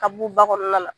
Ka b'u ba kɔnɔna la